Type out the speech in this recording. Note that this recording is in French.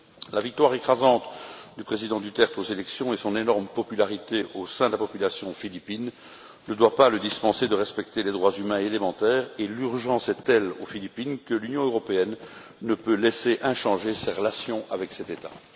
La victoire écrasante du président Duterte aux élections et son énorme popularité au sein de la population philippine ne doit pas le dispenser de respecter les droits humains élémentaires et l'urgence est telle aux Philippines que l'Union européenne ne peut laisser inchangées ses relations avec cet État.